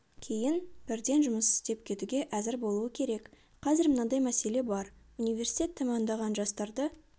кейін бірден жұмыс істеп кетуге әзір болуы керек қазір мынадай мәселе бар университет тәмамдаған жастарды